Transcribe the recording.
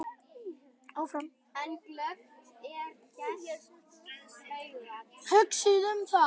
Hugsið um það.